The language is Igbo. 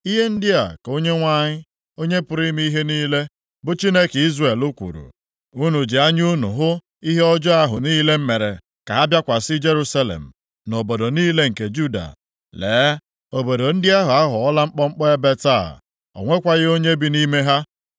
“Ihe ndị a ka Onyenwe anyị, Onye pụrụ ime ihe niile, bụ Chineke Izrel kwuru, Unu ji anya unu hụ ihe ọjọọ ahụ niile m mere ka ha bịakwasị Jerusalem, na obodo niile nke Juda. Lee, obodo ndị ahụ aghọọla mkpọmkpọ ebe taa, o nwekwaghị onye bi nʼime ha.